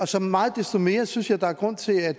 så meget desto mere synes jeg der er grund til at